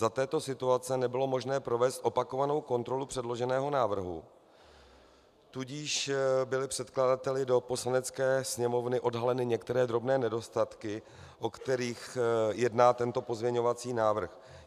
Za této situace nebylo možné provést opakovanou kontrolu předloženého návrhu, tudíž byly předkladateli do Poslanecké sněmovny odhaleny některé drobné nedostatky, o kterých jedná tento pozměňovací návrh.